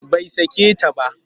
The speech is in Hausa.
Bai sake ta ba